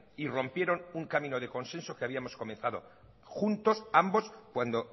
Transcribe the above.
y rompieron un camino de consenso que habíamos condensado juntos ambos cuando